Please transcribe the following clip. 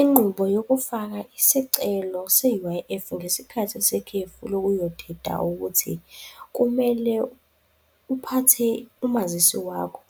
Inqubo yokufaka isicelo se-U_I_F ngesikhathi sekhefu lokuyoteta ukuthi kumele uphathe umazisi wakho,